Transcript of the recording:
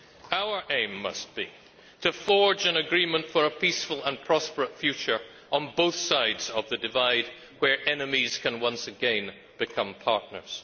Our aim must be to forge an agreement for a peaceful and prosperous future on both sides of the divide, where enemies can once again become partners.